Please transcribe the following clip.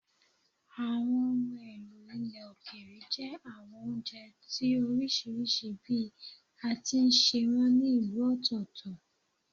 Àwọn ohun èlò ilẹ̀ òkèèrè jẹ́ àwọn oúnjẹ tí ó oríṣiríṣi bí a ti ń sè wọ́n ní ìlú ọ̀tọ̀ọ̀tọ̀